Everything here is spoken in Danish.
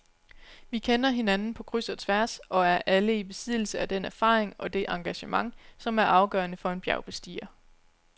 Vi kender hinanden på kryds og tværs og er alle i besiddelse af den erfaring og det engagement, som er afgørende for en bjergbestiger.